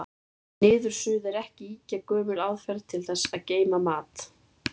Niðursuða er ekki ýkja gömul aðferð til þess að geyma mat.